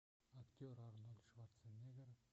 актер арнольд шварценеггер